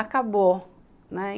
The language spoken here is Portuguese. Acabou, né.